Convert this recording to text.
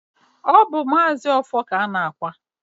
ọ bụ Maazi Ọfọr ka a na-akwa.